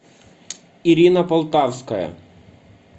ирина полтавская